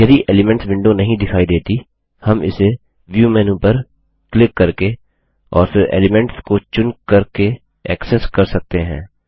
यदि elements window नहीं दिखाई देती हम इसे व्यू मेन्यू पर क्लिक करके और फिर एलिमेंट्स को चुन करके ऐक्सेस कर सकते हैं